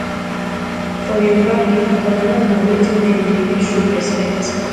for yoroba pipol kolanut na wetin dem dey use show respekt